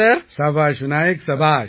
சபாஷ் விநாயக் சபாஷ்